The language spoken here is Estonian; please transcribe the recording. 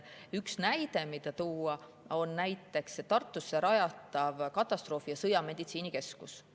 Üks näide, mida tuua, on Tartusse rajatav katastroofi‑ ja sõjameditsiini keskus.